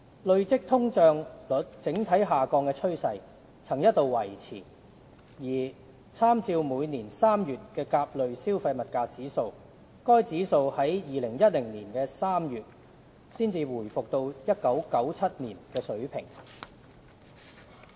累積通脹率整體下降的趨勢曾一度維持，而參照每年3月的甲類消費物價指數，該指數在2010年3月才回復到1997年的水平。